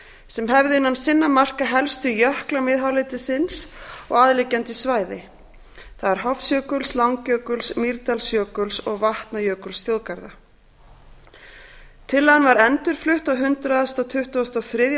sem hefðu innan sinna marka helstu jökla miðhálendisins og aðliggjandi landsvæði það er hofsjökuls langjökuls mýrdalsjökuls og vatnajökulsþjóðgarða tillagan var endurflutt á hundrað tuttugasta og þriðja